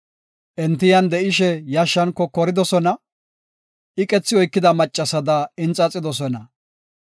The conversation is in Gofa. Enti yan de7ishe yashshan kokoridosona; iqethi oykida maccasada inxaxidosona.